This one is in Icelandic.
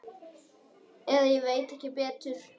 Eða ég veit ekki betur.